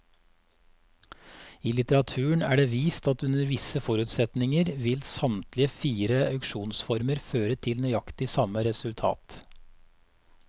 I litteraturen er det vist at under visse forutsetninger vil samtlige fire auksjonsformer føre til nøyaktig samme resultat.